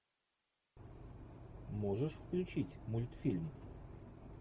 можешь включить мультфильм